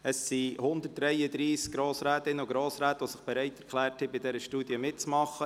133 Grossrätinnen und Grossräte haben sich bereit erklärt, bei dieser Studie mitzumachen.